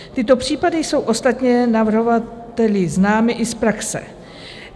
Tyto případy jsou ostatně navrhovateli známy i z praxe.